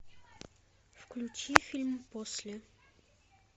включи фильм после